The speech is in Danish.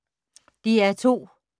DR2